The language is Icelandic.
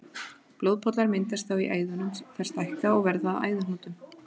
Blóðpollar myndast þá í æðunum, þær stækka og verða að æðahnútum.